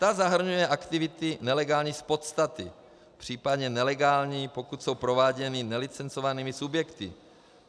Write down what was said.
Ta zahrnuje aktivity nelegální z podstaty, případně nelegální, pokud jsou prováděny nelicencovanými subjekty.